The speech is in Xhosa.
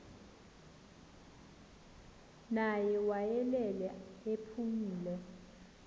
ngaye wayelele ephumle